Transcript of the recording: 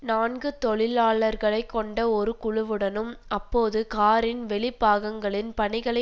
நான்கு தொழிலாளர்களை கொண்ட ஒரு குழுவுடனும் அப்போது காரின் வெளிப்பாகங்களின் பணிகளை